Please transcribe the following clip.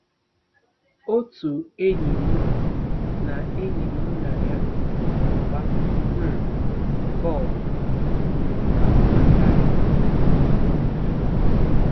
Otu enyi mụ na enyi mụ na ya na-agba um bọl mere ka m mata ya.